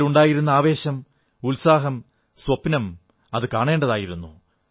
അവരിലുണ്ടായിരുന്ന ആവേശം ഉത്സാഹം സ്വപ്നം കാണേണ്ടതായിരുന്നു